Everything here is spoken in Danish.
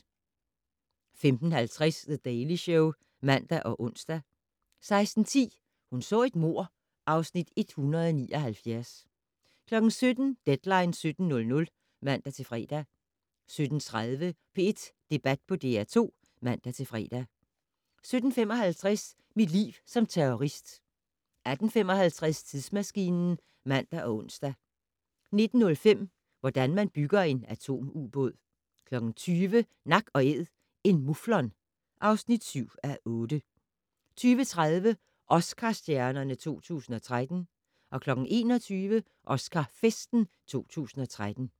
15:50: The Daily Show (man og ons) 16:10: Hun så et mord (Afs. 179) 17:00: Deadline 17.00 (man-fre) 17:30: P1 Debat på DR2 (man-fre) 17:55: Mit liv som terrorist 18:55: Tidsmaskinen (man og ons) 19:05: Hvordan man bygger en atomubåd 20:00: Nak & Æd - en muflon (7:8) 20:30: Oscar-stjernerne 2013 21:00: Oscar-festen 2013